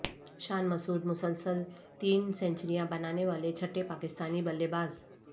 شان مسعود مسلسل تین سینچریاں بنانے والے چھٹے پاکستانی بلے باز